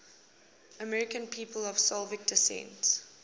american people of slovak descent